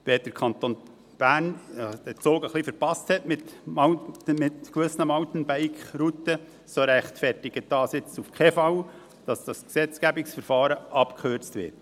Wenn der Kanton Bern den Zug mit gewissen Mountainbike-Routen ein wenig verpasst hat, so rechtfertigt dies nun auf keinen Fall, dass das Gesetzgebungsverfahren abgekürzt wird.